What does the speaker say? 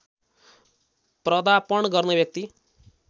प्रदापण गर्ने व्यक्ति